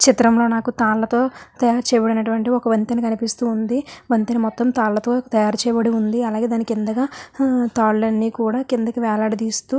ఈ చిత్రం లొ నాకు తాళ్లతో తయారు చేయబడినటువంటి ఒక వంతన కనిపిస్తూ వుంది వంతిని మొత్తం తాళ్ల తోని చేయబడి వుంది అలాగే దాని కిందగ తాళ్లు అన్నీ కూడా కిందికి వేలాడదీస్తూ --